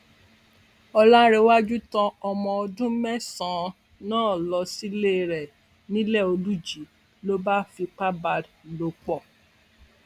ọlárèwájú tán ọmọ ọdún mẹsànán lọ sílé rẹ niléolùjì ló bá fipá bá a lò pọ